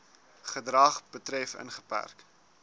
gedrag betref ingeperk